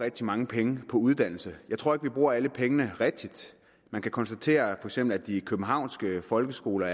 rigtig mange penge på uddannelse jeg tror ikke vi bruger alle pengene rigtigt man kan konstatere for eksempel at de københavnske folkeskoler